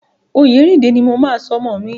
Oyèrìndé ní mo máa sọ ọmọ mi.